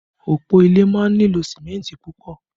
Òpó ilé máa ń nílò símẹ́ntì púpọ̀